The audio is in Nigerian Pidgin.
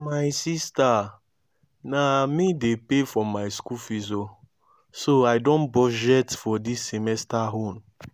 my sister na me dey pay for my school fees oo so i don budget for dis semester own